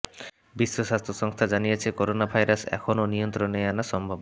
বিশ্ব স্বাস্থ্য সংস্থা জানিয়েছে করোনা ভাইরাস এখনো নিয়ন্ত্রণে আনা সম্ভব